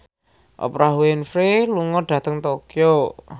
Oprah Winfrey lunga dhateng Tokyo